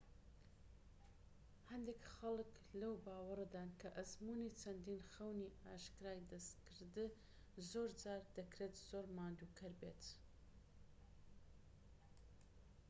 هەندێک خەڵک لەو باوەڕەدان کە ئەزموونی چەندین خەونی ئاشکرای دەستکرد زۆرجار دەکرێت زۆر ماندووکەر بێت